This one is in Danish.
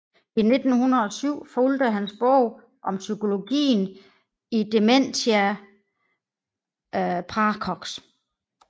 I 1907 fulgte hans bog Om psykologien i Dementia praecox